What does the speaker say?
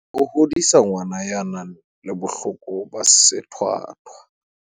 Ho hodisa ngwana ya nang le bohloko ba sethwathwa